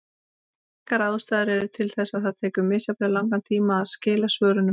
Margar ástæður eru til þess að það tekur misjafnlega langan tíma að skila svörunum.